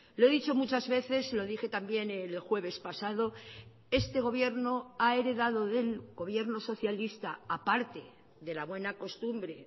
lo he dicho muchas veces lo dije también el jueves pasado este gobierno ha heredado del gobierno socialista a parte de la buena costumbre